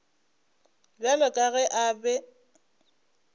bjalo ka ge a be